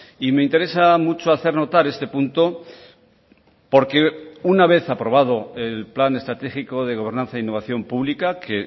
y me interesa mucho hacer notar este punto porque una vez aprobado el plan estratégico de gobernanza e innovación publica que